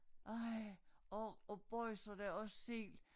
Ej og og boisa da og sild